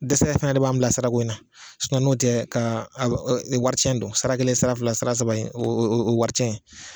Dɛsɛ fana de b'an bila sira ko in na, n'otɛ k'a a nin wari cɛn don, sara kelen sara fila, sara saba in o ye wari tiɲɛn ye,